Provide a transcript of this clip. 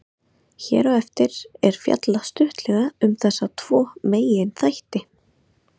Hér á eftir er fjallað stuttlega um þessa tvo meginþætti.